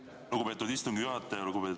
Aitäh, lugupeetud istungi juhataja!